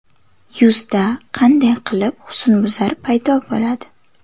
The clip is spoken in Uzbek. Yuzda qanday qilib husnbuzar paydo bo‘ladi?